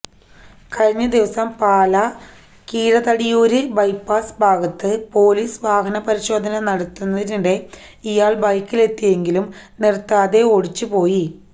കഴിഞ്ഞദിവസം പാലാ കിഴതടിയൂര് ബൈപാസ് ഭാഗത്ത് പോലീസ് വാഹന പരിശോധന നടത്തുന്നതിനിടെ ഇയാള് ബൈക്കിലെത്തിയെങ്കിലും നിര്ത്താതെ ഓടിച്ചുപോയി